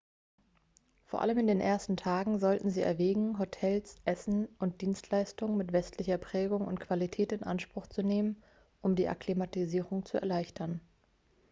vor allem in den ersten tagen sollten sie erwägen hotels essen und dienstleistungen mit westlicher prägung und qualität in anspruch zu nehmen um die akklimatisierung zu erleichtern